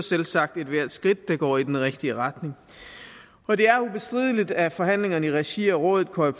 selvsagt ethvert skridt der går i den rigtige retning og det er ubestrideligt at forhandlingerne i regi af rådet coreper